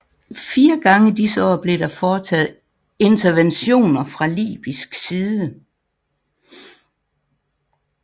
Fire gange disse år blev der foretaget interventioner fra Libysk side